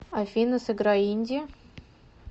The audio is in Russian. афина сыграй инди